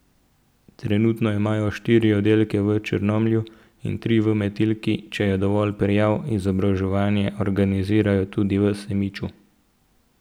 Trenutno imajo štiri oddelke v Črnomlju in tri v Metliki, če je dovolj prijav, izobraževanje organizirajo tudi v Semiču.